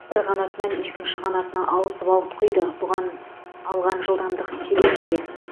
бір қанатынан екінші қанатына ауысып ауытқиды бұған алған жылдамдық себеп пе